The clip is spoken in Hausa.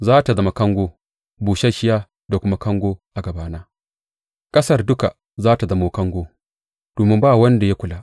Za tă zama kango, busasshiya da kuma kango a gabana; ƙasar duka za tă zama kango domin ba wanda ya kula.